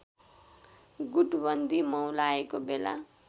गुटबन्दी मौलाएको बेला